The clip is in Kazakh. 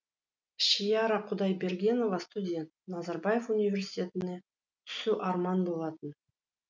шиара құдайбергенова студент назарбаев университетіне түсу арман болатын